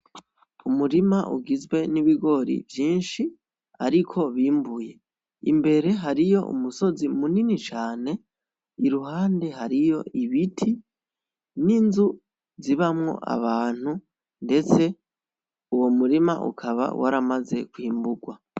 Umurima ugizwe n'ibigori vyinshi, ariko bimbuye. Imbere hariyo umusozi munini cane, iruhande hariyo ibiti n'inzu zibamwo abantu ndetse uwo murima ukaba waramaze kwimburwa.